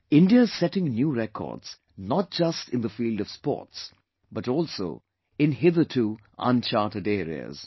India is setting new records not just in the field of sports but also in hitherto uncharted areas